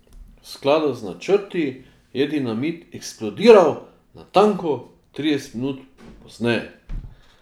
V skladu z načrti je dinamit eksplodiral natanko trideset minut pozneje.